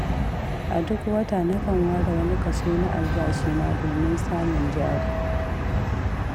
A duk wata nakan ware wani kaso na albashina, domin samun jari.